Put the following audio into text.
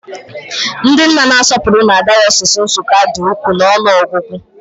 Ndị nna na-asọpụrụ na dayọsis Nsukka dị ukwuu n'ọnụ ọgụgụ